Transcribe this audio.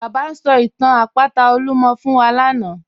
Baba n sọ̀ itàn àpátà Olúmọ̀ fún wa lánà.